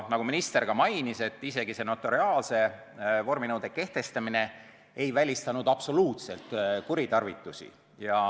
Nagu minister ka mainis, isegi see notariaalse vorminõude kehtestamine ei välistanud absoluutselt kuritarvitusi.